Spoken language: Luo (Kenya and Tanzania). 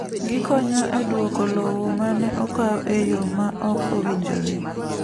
Gikonyo e duoko lowo ma ne okaw e yo ma ok owinjore.